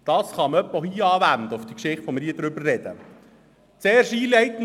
» Dies kann man auch auf die Sache anwenden, über die wir hier sprechen.